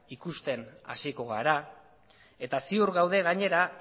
ikusten hasiko gara eta ziur gaude gainera